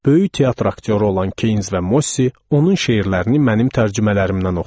Böyük teatr aktyoru olan Kains və Mossi onun şeirlərini mənim tərcümələrimdən oxudu.